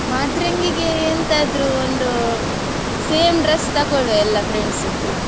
ಮಾದ್ರಂಗಿಗೆ ಎಂತಾದ್ರು ಒಂದು same dress ತಕೊಳ್ಳುವ ಎಲ್ಲಾ friends .